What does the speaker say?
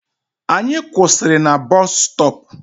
Anyị kwụsịrị na busstop